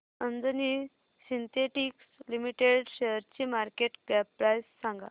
Anjani synthetics limited शेअरची market cap price सांगा